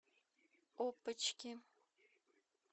опочки